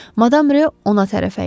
Madam Ro ona tərəf əyildi.